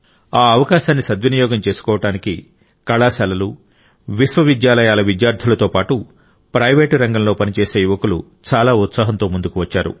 ఆ అవకాశాన్ని దాన్ని సద్వినియోగం చేసుకోవడానికి కళాశాలలు విశ్వవిద్యాలయాల విద్యార్థులతో పాటు ప్రైవేట్ రంగంలో పనిచేసే యువకులు చాలా ఉత్సాహంతో ముందుకు వచ్చారు